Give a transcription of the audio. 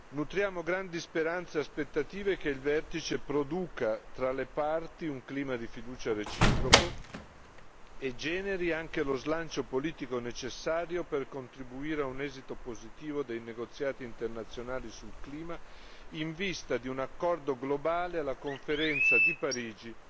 Nutriamo grandi speranze e aspettative sul fatto che il vertice produca tra le parti un clima di fiducia reciproco e generi lo slancio politico necessario per contribuire a un esito positivo dei negoziati internazionali sul clima, in vista di un accordo globale alla conferenza di Parigi